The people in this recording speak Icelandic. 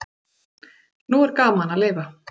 Nú er gaman að lifa!